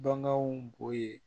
Baganw bo yen